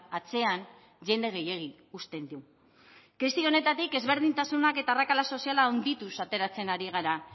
atzean jende gehiegi uzten du krisi honetatik ezberdintasunak eta arrakala sozial handituz ateratzen ari gara